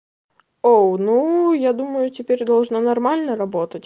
оу ну я думаю теперь должно нормально работать